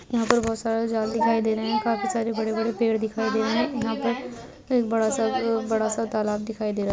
यहाँ पर बहुत सारे जाल दिखाई दे रहे है काफी सारे बड़े-बड़े पेड़ दिखाई दे रहे है यहाँ पर एक बड़ा सा आ-- बड़ा सा तालाब दिखाई दे रहा--